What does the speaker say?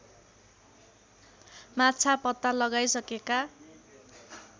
माछा पत्ता लगाइसकेका